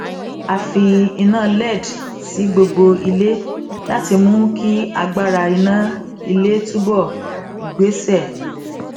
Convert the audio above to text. a fi àwọn iná led sí gbogbo ilé láti mú kí agbára iná ilé túbò gbéṣé